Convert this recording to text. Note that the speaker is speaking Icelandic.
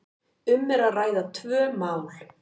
um er að ræða tvö mál.